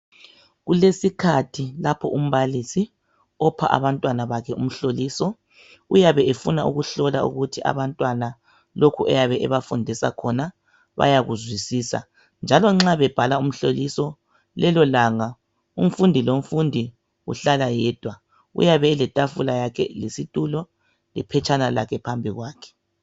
Kulesikhathi lapho umbalisi opha abantwana bakhe umhloliso, uyabe efuna ukuhlola ukuthi abantwana lokhu ayabe ebafundisa khona bayakuzwisisa njalo nxa bebhala umhloliso lelolanga umfundi lomfundi uhlala yedwa, uyabe eletafula yakhe lesitulo lephetshana lakhe phambi kwakhe